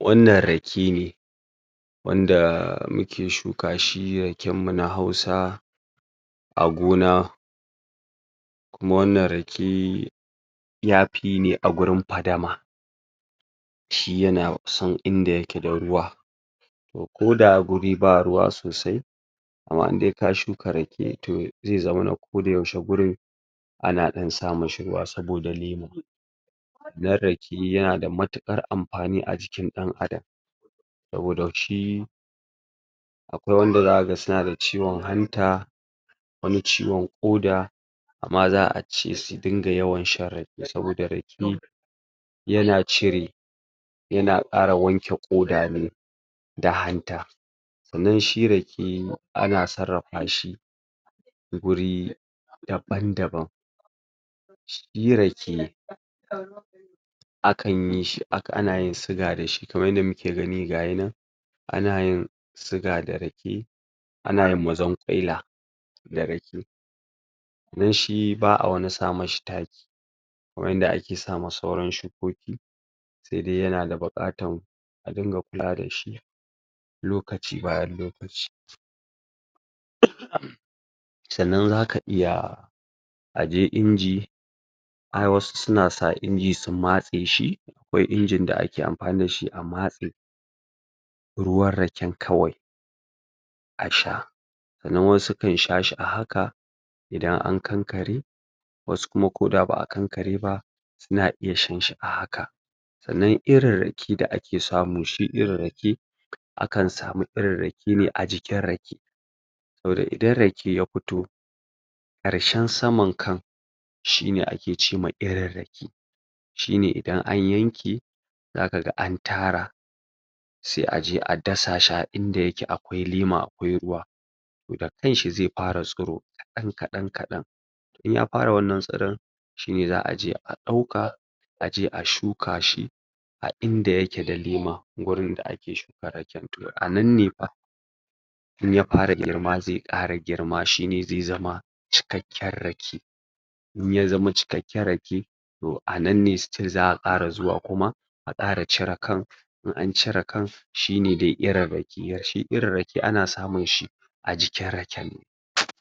wannan rake ne wanda muke shuka shi raken mu na hausa a gona kuma wannan rake yafi ne a gurin padama shi yana san inda yake da ruwa to, koda guri ba ruwa sosai amma inde ka shuka rake, to zai zamana gurin ko da yaushe ana dan sa mishi ruwa saboda lema dan rake yana da matuƘar amfani a jikin dan adam saboda shi akwai wanda zakaga suna da ciwo hanta wano ciwon Ƙoda amma za'a ce su dinga yawan shan rake saboda rake yana cire yana Ƙara wanke Ƙoda ne da hanta sannan shi rake ana sarrafa shi guri daban daban shi rake akan yi.... ana yin siga dashi, kaman yanda muke gani gayi nan ana yin siga da rake ana yin mazanƘwaila da rake dan shi ba'a wani sa mishi taki kaman yanda ake sama sauran shukoki saidai yana da buƘatan a dinga kulawa dashi lokaci bayan lokaci sannan zaka iya aje inji har wasu suna sa inji su matse shi akwai inji da ake amfani dashi a matse ruwan rake kawai a sha sannna wasu kansha shi a a hak a idan an kankare wasu kuma koda ba'a kankare ba suna iya shanshi a haka sannan irin rake da ake samu, shi irin rake akan samu irin rake ne a jikin rake saboda idan ya fito karshen saman kan shine a ke cema irin rake shi ne idan an yanke zakaga an tara sai a jea dasa a inda yake akwai lema, akwai ruwa to, da kanshi zai fara tsuro kadan kadan kadan in ya fara wannan tsoron shine za'aje a dauka aje a shuka shi a inda yake da lema, gurin da anan nefa in ya fara girma zai Ƙara girma shi ne zai zama cikakken rake in ya zama cikakken rake to anan ne still za'a kara zuwa kuma a Ƙara cire kan in an cire kan,, shi ne dai irin rake shi irin rake ana samunshi a jikin raken ne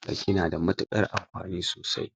to yana da matuƘar amfani sosai